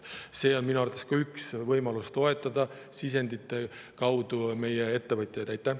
See on minu arvates ka üks võimalus sisendite kaudu meie ettevõtjaid toetada.